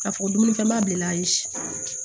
K'a fɔ dumunifɛnbali ayi